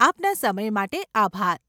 આપના સમય માટે આભાર.